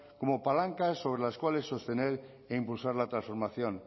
como palanca sobre las cuales sostener e impulsar la transformación